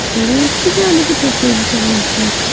দূরে একটি দেওয়ালে দুটো পেন্টিং দেখা যাচ্ছে।